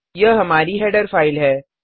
यह हमारी header file है